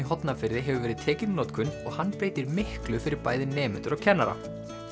Hornafirði hefur verið tekinn í notkun og hann breytir miklu fyrir bæði nemendur og kennara